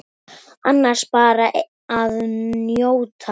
Annars bara að njóta.